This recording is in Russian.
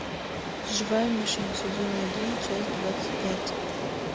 живая мишень сезон один часть двадцать пять